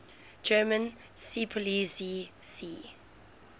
german seepolizei sea